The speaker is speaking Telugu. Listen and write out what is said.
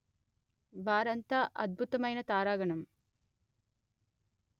వారంతా అద్భుతమైన తారాగణం